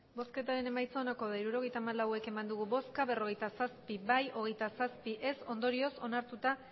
emandako botoak hirurogeita hamalau bai berrogeita zazpi ez hogeita zazpi ondorioz onartuta